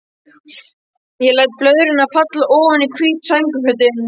Ég læt blöðrurnar falla oní hvít sængurfötin.